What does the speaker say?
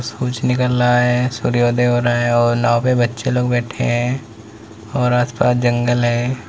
सूरज निकल रहा है। सूर्योदय हो रहा है और नाव पे बच्चे लोग बैठे हैं और आसपास जंगल है।